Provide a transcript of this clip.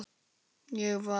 Ég var.